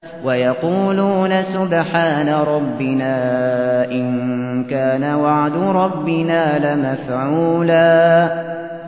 وَيَقُولُونَ سُبْحَانَ رَبِّنَا إِن كَانَ وَعْدُ رَبِّنَا لَمَفْعُولًا